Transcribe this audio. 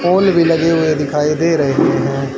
Hall भी लगे हुए दिखाई दे रहे हैं।